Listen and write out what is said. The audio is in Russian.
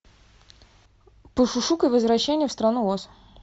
пошушукай возвращение в страну оз